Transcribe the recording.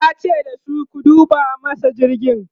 yace dasu "ku duba masa jirgin!'